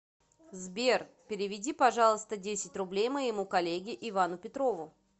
сбер переведи пожалуйста десять рублей моему коллеге ивану петрову